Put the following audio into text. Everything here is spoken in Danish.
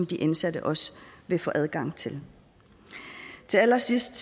de indsatte også vil få adgang til til allersidst